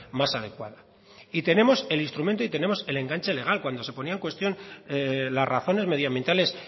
más adecuada y tenemos el instrumento y tenemos el enganche legal cuando se ponía en cuestión las razones medioambientales